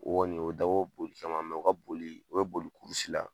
O Kɔni o dabɔ boli caman mɛ o ka boli o be boli kurusi la